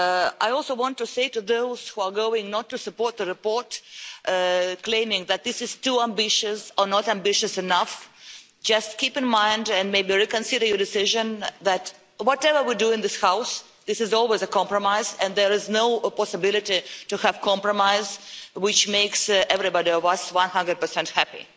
I also want to say to those who are not going to support the report, claiming that it is too ambitious or not ambitious enough just keep in mind and maybe reconsider your decision that, whatever we do in this House, it is always a compromise and there is no possibility to have a compromise which makes all of us one hundred percent happy.